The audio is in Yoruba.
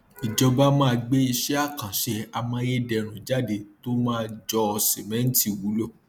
ìjọba máa gbé iṣẹ àkànṣe amáyédẹrùn jáde tó máa jọ sìmẹntì wulo